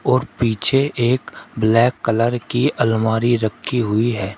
और पीछे एक ब्लैक कलर की अलमारी रखी हुई है।